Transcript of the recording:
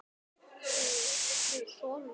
Hún gat sig hvergi hrært.